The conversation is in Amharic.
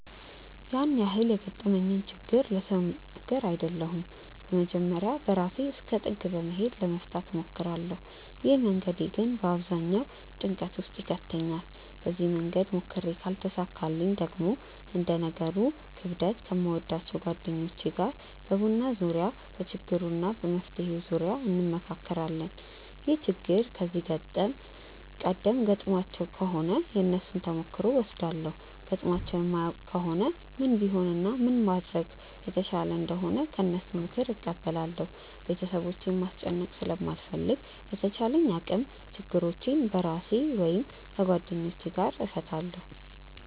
ያን ያህል የገጠመኝን ችግር ለሰው የምናገር አይደለሁም በመጀመርያ በራሴ እስከ ጥግ በመሄድ ለመፍታት እሞክራለው። ይህ መንገዴ ግን በአብዛኛው ጭንቀት ውስጥ ይከተኛል። በዚህ መንገድ ሞክሬ ካልተሳካልኝ ደግሞ እንደ ነገሩ ክብደት ከምወዳቸው ጓደኞቼ ጋር በቡና ዙርያ በችግሩ እና በመፍትሄው ዙርያ እንመክራለን። ይህ ችግር ከዚህ ቀደም ገጥሟቸው ከሆነ የነሱን ተሞክሮ እወስዳለው ገጥሟቸው የማያውቅ ከሆነ ምን ቢሆን እና ምን ባደርግ የተሻለ እንደሆነ ከነሱ ምክርን እቀበላለው። ቤተሰቦቼን ማስጨነቅ ስለማልፈልግ በተቻለኝ አቅም ችግሮቼን በራሴ ወይም ከጓደኞቼ ጋር እፈታለው።